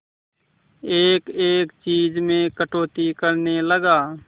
एक एक चीज में कटौती करने लगा